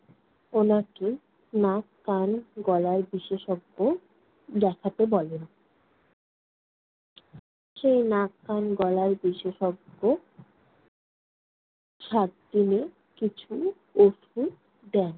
উনাকে নাক-কান-গলার বিশেষজ্ঞ দেখাতে বলেন। সে নাক-কান-গলার বিশেষজ্ঞ সাত দিনের কিছু ওষুধ দেন।